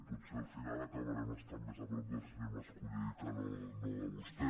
potser al final acabarem estant més a prop del senyor mas·colell que no de vostè